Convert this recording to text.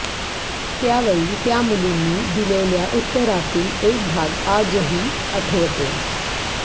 त्यावेळी त्या मुलींनी दिलेल्या उत्तरातील एक भाग आजही आठवतोय